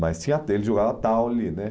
Mas tinha até ele jogava taule, né?